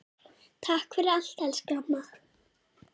Takk fyrir allt elsku amma.